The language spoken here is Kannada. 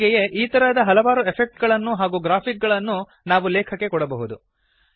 ಹೀಗೆಯೇ ಈ ತರಹದ ಹಲವಾರು ಎಫೆಕ್ಟ್ ಗಳನ್ನು ಹಾಗೂ ಗ್ರಾಫಿಕ್ ಗಳನ್ನು ನಾವು ಲೇಖಕ್ಕೆ ಕೊಡಬಹುದು